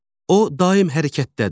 O daim hərəkətdədir.